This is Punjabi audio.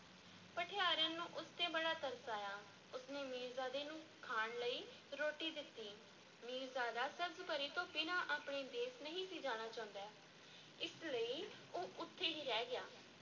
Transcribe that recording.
ਭਠਿਆਰਨ ਨੂੰ ਉਸ ਤੇ ਬੜਾ ਤਰਸ ਆਇਆ, ਉਸ ਨੇ ਮੀਰਜ਼ਾਦੇ ਨੂੰ ਖਾਣ ਲਈ ਰੋਟੀ ਦਿੱਤੀ, ਮੀਰਜ਼ਾਦਾ ਸਬਜ਼-ਪਰੀ ਤੋਂ ਬਿਨਾਂ ਆਪਣੇ ਦੇਸ ਨਹੀਂ ਸੀ ਜਾਣਾ ਚਾਹੁੰਦਾ, ਇਸ ਲਈ ਉਹ ਉੱਥੇ ਹੀ ਰਹਿ ਗਿਆ।